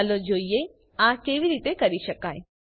ચાલો જોઈએ આ કેવી રીતે કરી શકાય